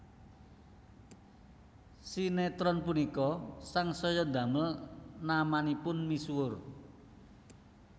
Sinétron punika sangsaya ndamel namanipun misuwur